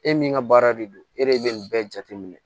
E min ka baara de don e de bɛ nin bɛɛ jate minɛ